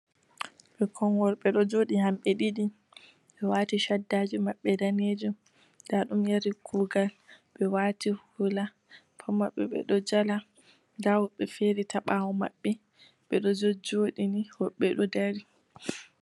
Ɓikkon worɓe ɗo jooɗi hamɓe ɗiɗi, ɓe waati shaddaji maɓɓe daneejum, nda ɗum yari kugal, ɓe waati hula, pat maɓɓe ɓe ɗo jala, nda woɓɓe feere ta ɓawo maɓɓe, ɓe ɗo jojooɗi ni, woɓɓe ɗo dari.